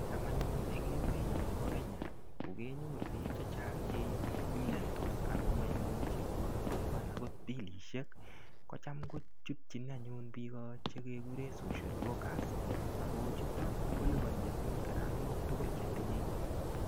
Cham anyun en emenyon nebo Kenya ko kenyoru bik chechang cheimiondos ako koimuche koipian okot bilishek kochem kovhutyin anyun bik chekekure social worker Ako chuto koliponi anyun karamok tukul chetinye.